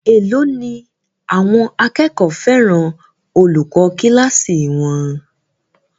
Èló ni àwọn akẹ́kọ̀ọ́ fẹ́ràn olùkọ́ kíláàsì wọn?